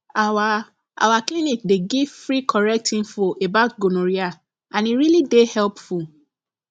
our our clinic dey give free correct info about gonorrhea and e really dey helpful